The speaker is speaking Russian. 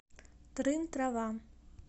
трын трава